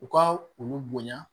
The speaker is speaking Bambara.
U ka olu bonya